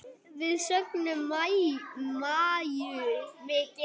Við söknum Maju mikið.